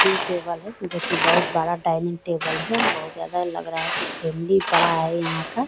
Dining table है जो कि बहुत बड़ा डाइनिंग टेबल है बहुत ज्यादा लग रहा है कि फैमिली बड़ा है यहां का।